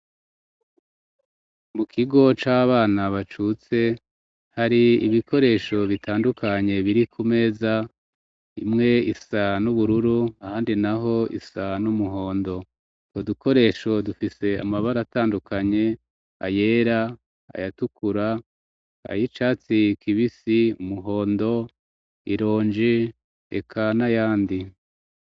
mu kigo c'abana bacutse hari ibikoresho bitandukanye biri ku meza imwe isa n'ubururu ahandi naho isa n'umuhondo hariko udukoresho dufise amabara atandukanye ayera ayatukura ay, icatsi kibisi umuhondo ironji eka n,ayandi.